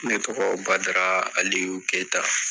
Ne tɔgɔ Badara Aliyu y'o keyita.